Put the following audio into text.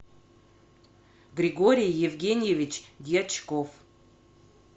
григорий евгеньевич дьячков